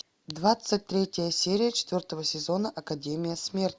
двадцать третья серия четвертого сезона академия смерти